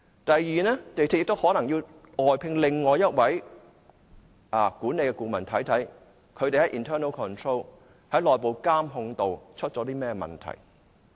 港鐵公司亦可能要外聘另一位管理顧問，看看他們在內部監控方面出了甚麼問題。